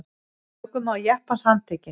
Ökumaður jeppans handtekinn